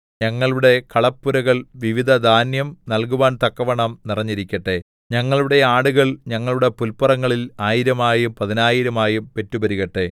ഞങ്ങളുടെ കളപ്പുരകൾ വിവിധ ധാന്യം നല്കുവാന്തക്കവണ്ണം നിറഞ്ഞിരിക്കട്ടെ ഞങ്ങളുടെ ആടുകൾ ഞങ്ങളുടെ പുല്പുറങ്ങളിൽ ആയിരമായും പതിനായിരമായും പെറ്റുപെരുകട്ടെ